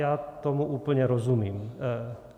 Já tomu úplně rozumím.